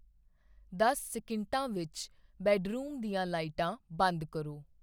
ਦਸ ਸੈਕਿੰਡਾਂ ਵਿੱਚ ਬੈੱਡਰੂਮ ਦੀਆਂ ਲਾਈਟਾਂ ਬੰਦ ਕਰੋ